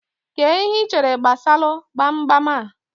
Kee ihe ichere gbasalu gbamgbam a?